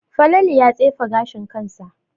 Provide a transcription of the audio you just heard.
Falalu ya tsefe ganin kansa